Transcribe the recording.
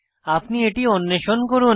আপনি এটি অন্বেষণ করুন